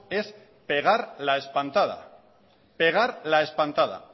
es pegar la espantada pegar la espantada